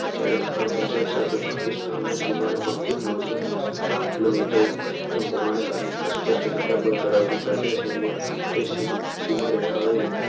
જ્યારે આપણા પંજાબ સાથે પાકિસ્તાનનો સીમાડો ફક્ત નવ્સોને સત્તાવન કિલોમીટર હોવાના કારણે આસપાસ સંખ્યાબંધ ધરાવતું જે સીમા રેખાઓ એ